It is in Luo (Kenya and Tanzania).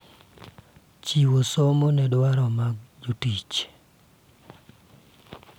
Chiwo somo ne dwaro mag jotich